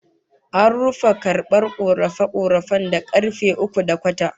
An rufe karbar korafe-korafen da karfe uku da kwata